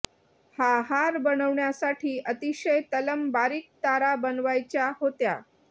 हा हार बनवण्यासाठी अतिशय तलम बारीक तारा बनवायच्या होत्या